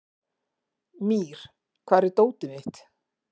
Mír, hvar er dótið mitt?